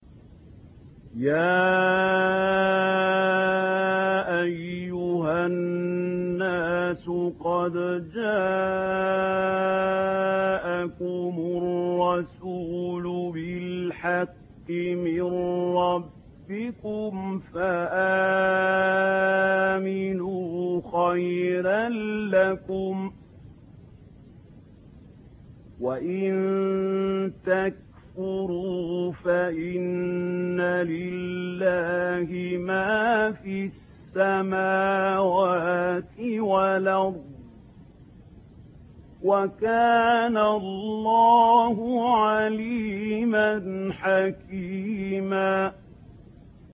يَا أَيُّهَا النَّاسُ قَدْ جَاءَكُمُ الرَّسُولُ بِالْحَقِّ مِن رَّبِّكُمْ فَآمِنُوا خَيْرًا لَّكُمْ ۚ وَإِن تَكْفُرُوا فَإِنَّ لِلَّهِ مَا فِي السَّمَاوَاتِ وَالْأَرْضِ ۚ وَكَانَ اللَّهُ عَلِيمًا حَكِيمًا